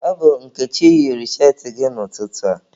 Ọ bụ Nkechi yiri cheetị gị n'ụtụtụ a.